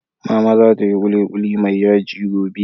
Mama za ta yi kulikuli mai yaji gobe